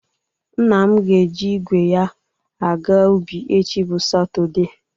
Nna m ga-eji igwe ya aga ubi echi bụ Satọde